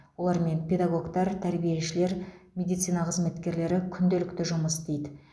олармен педагогтар тәрбиешілер медицина қызметкерлері күнделікті жұмыс істейді